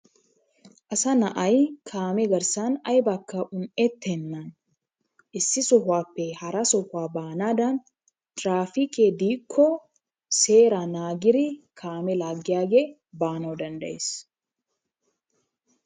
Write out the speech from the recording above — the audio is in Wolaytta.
Asa na'ay kaamee garssan aybakka un"ettenaan issi sohuwappe hara sohuwa baanadan traappikke diikko seeraa naagidi kaame laagiyaagee baanawu danddayees.